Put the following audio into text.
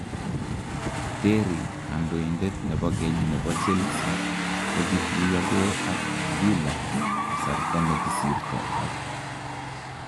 Terry kandoindet nebo keny nebo Chelsea , kokituyokee ak Villa kasarta nekisirto ak